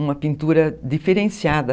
Uma pintura diferenciada.